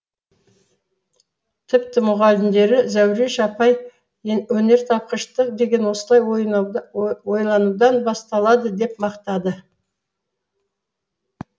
тіпті мұғалімдері зәуреш апай өнертапқыштық деген осылай ойланудан басталады деп мақтады